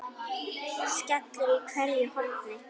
skellur í hverju horni.